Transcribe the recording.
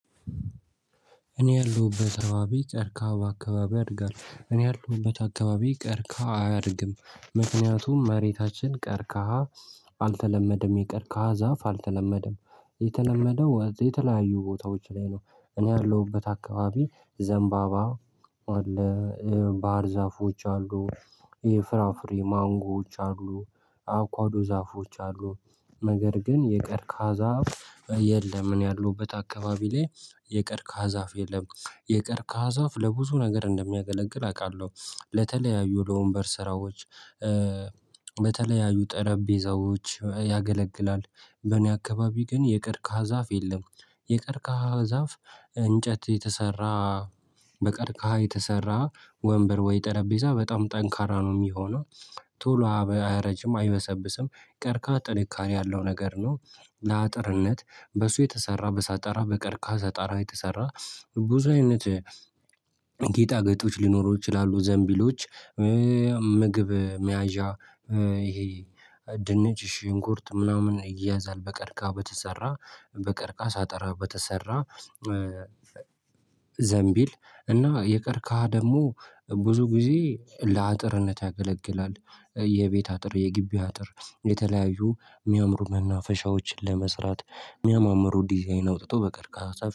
እኔ ያለሁበት አካባቢ ቀርካሃ በአካባቢ ያድጋል እኔ ያለሁበት አካባቢ ቀርካሃ አያድግም ምክንያቱም መሬታችን ቀርካሃ አልተለመደም የቀርካሃ ዛፍ አልተለመደም የተለመደው የተለያዩ ቦታዎች ላይ ነው። እኔ ያለሁበት አካባቢ ዘንባባ አለ ባህር ዛፎች አሉ ይሄ ፍራፍሬ ማንጎዎች አሉ አቮኳዶ ዛፎች አሉ ነገር ግን የቀርካሃ ዛፍ የለም። እኔ ያለሁበት አካባቢ ላይ የቀርካሃ ዛፍ የለም። የቀርካሀሃ ዛፍ ለብዙ ነገር እንደሚያገለግል አውቃለሁ። ለተለያዩ ለወንበር ስራዎች። ለተለያዩ ጠረጴዛዎች ያገለግላል በኔ አካባቢ ግን የቀርከሃ ዛፍ የለም። የቀርካሃ ዛፍ እንጨት የተሰራ በቀርካሃ የተሰራ ወንበር ወይ ጠረጴዛ በጣም ጠንካራ ነው የሚሆነው። ቶሎ አያረጅም አይበሰብስም ቀርካሃ ጥንካሬ ያለው ነገር ነው። ለአጥርነት በሱ የተሰራ በሳጣራ በቀርካሃ ሳጣራ የተሰራ። ብዙ አይነት ጌጣገጦች ሊኖሩ ይችላሉ ዘንቢሎች ምግብ መያዣ። ይሄ ድንች ሽንኩርት ምናምን ይያዛል በቀርካሃ በተሰራ በቀርካሃ ሳጠራ በተሰራ። ዘምቢል እና የቀርከሃ ደግሞ ብዙ ጊዜ ለአጥርነት ያገለግላል። የቤት አጥር የጊቢ አጥር የተለያዩ የሚያምሩ መናፈሻዎች ለመስራት የሚያማምሩ ዲዛይን አውጥቶ በቀርካሃ